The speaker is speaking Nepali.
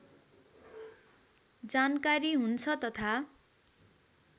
जानकारी हुन्छ तथा